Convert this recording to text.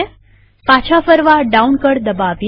પાછા ફરવા ડાઉન કળ દબાવીએ